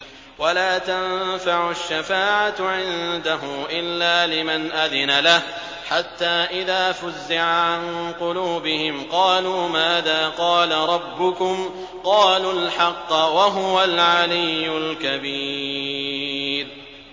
وَلَا تَنفَعُ الشَّفَاعَةُ عِندَهُ إِلَّا لِمَنْ أَذِنَ لَهُ ۚ حَتَّىٰ إِذَا فُزِّعَ عَن قُلُوبِهِمْ قَالُوا مَاذَا قَالَ رَبُّكُمْ ۖ قَالُوا الْحَقَّ ۖ وَهُوَ الْعَلِيُّ الْكَبِيرُ